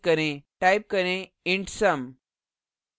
type करें int sum